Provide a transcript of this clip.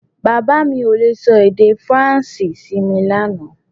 Bàbá mi ò le sọ èdè Faransé sí mi lánàá